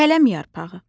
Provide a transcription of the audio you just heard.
Kələm yarpağı.